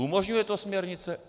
Umožňuje to směrnice?